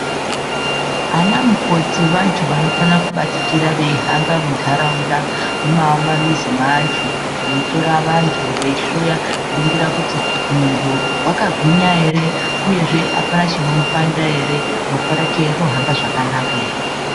Ana mukoti vantu vanofana kubatikira veihamba munharaunda mumamizi maantu veitora vantu veihloya veiningira kuti muntu wakagwinya ere uyezve apana chinomupanda ere ropa rake rohamba zvakanaka ere.